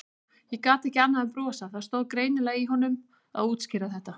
Ég gat ekki annað en brosað, það stóð greinilega í honum að útskýra þetta.